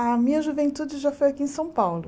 A minha juventude já foi aqui em São Paulo.